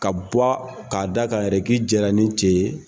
Ka bɔ ka'a da ka yɛrɛ ki jɛra ni cɛ ye.